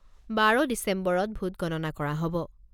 বাৰ ডিচেম্বৰত ভোটগণনা কৰা হ'ব।